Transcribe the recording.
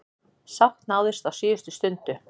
Sátt náðist á síðustu stundu.